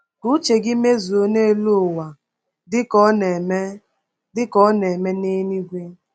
“Ka uche gị mezuo n’elu ụwa dịka ọ na-eme dịka ọ na-eme n’eluigwe.”